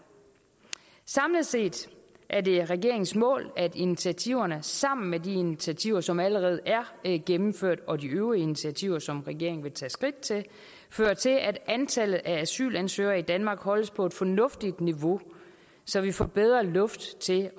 samlet set er det regeringens mål at initiativerne sammen med de initiativer som allerede er gennemført og de øvrige initiativer som regeringen vil tage skridt til fører til at antallet af asylansøgere i danmark holdes på et fornuftigt niveau så vi får mere luft til